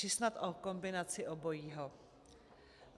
Či snad o kombinaci obojího?